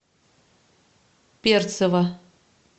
перцева